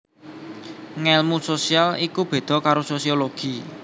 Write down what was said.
Ngèlmu sosial iku béda karo Sosiologi